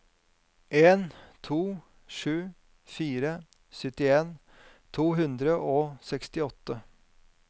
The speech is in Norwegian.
en to sju fire syttien to hundre og sekstiåtte